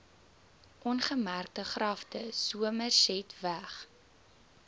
ongemerkte grafte somersetweg